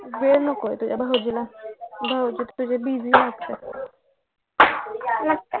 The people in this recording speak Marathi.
वेळ नको होय तुझ्या भाऊजीला भाऊजी तुझे busy असतात